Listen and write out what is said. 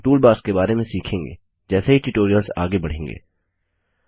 हम टूलबार्स के बारे में सीखेंगे जैसे ही ट्यूटोरियल्स आगे बढ़ेंगे